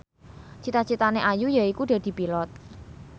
cita citane Ayu yaiku dadi Pilot